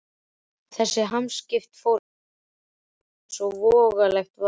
Þessi hamskipti fóru illa í Óla eins og vonlegt var.